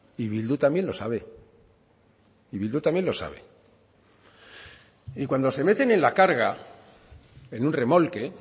y bildu también lo sabe y bildu también lo sabe y cuando se meten en la carga en un remolque